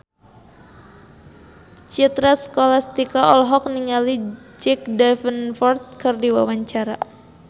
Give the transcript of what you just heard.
Citra Scholastika olohok ningali Jack Davenport keur diwawancara